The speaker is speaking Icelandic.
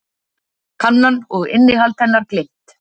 Kannan og innihald hennar gleymt.